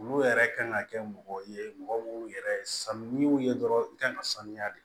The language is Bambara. Olu yɛrɛ kan ka kɛ mɔgɔ ye mɔgɔ minnu yɛrɛ san n'i y'u ye dɔrɔn i kan ka sanuya de